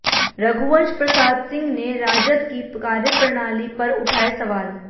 रघुवंश प्रसाद सिंह ने राजद की कार्यप्रणाली पर उठाए सवाल